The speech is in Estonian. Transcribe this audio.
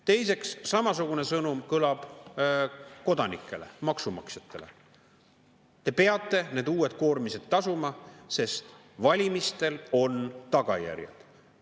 Teiseks, samasugune sõnum kõlab kodanikele, maksumaksjatele: "Te peate need uued koormised tasuma, sest valimistel on tagajärjed.